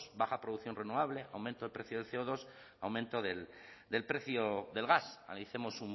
baja producción renovable aumento del precio de ce o dos aumento del precio del gas analicemos